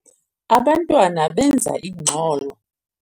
Abantwana benza ingxolo.